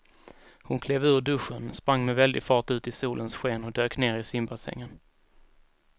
Hon klev ur duschen, sprang med väldig fart ut i solens sken och dök ner i simbassängen.